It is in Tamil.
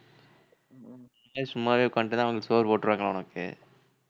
அப்படியே சும்மாவே உட்கார்ந்துட்டுருந்தா அவுங்க சோறு போட்டுருவாங்களா உனக்கு